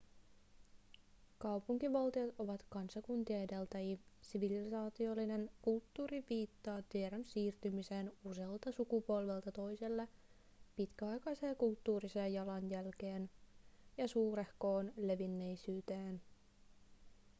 kaupunkivaltiot ovat kansakuntien edeltäjiä sivilisaatiollinen kulttuuri viittaa tiedon siirtymiseen usealta sukupolvelta toiselle pitkäaikaiseen kulttuuriseen jalanjälkeen ja suurehkoon levinneisyyteen